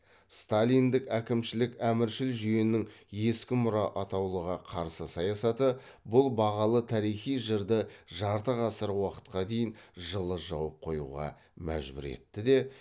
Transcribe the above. сталиндік әкімшілік әміршіл жүйенің ескі мұра атаулыға қарсы саясаты бұл бағалы тарихи жырды жарты ғасыр уақытқа дейін жылы жауып қоюға мәжбүр етті де